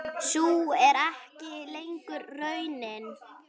Sú er ekki lengur raunin.